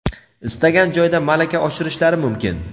istagan joyda malaka oshirishlari mumkin.